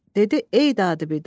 Dedi: “Ey dad-bidad!